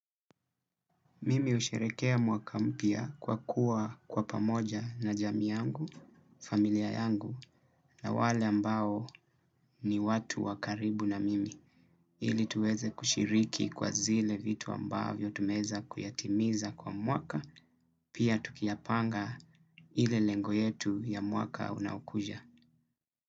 Mimi husherekea mwaka mpya kwa kuwa kwa pamoja na jamii yangu, familia yangu na wale ambao ni watu wakaribu na mimi. Ili tuweze kushiriki kwa zile vitu ambavyo tumeeza kuyatimiza kwa mwaka, pia tukiyapanga ile lengo yetu ya mwaka unaokuja.